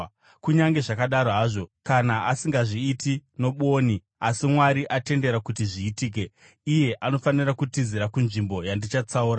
Kunyange zvakadaro hazvo, kana asingazviiti nobwoni, asi Mwari atendera kuti zviitike, iye anofanira kutizira kunzvimbo yandichatsaura.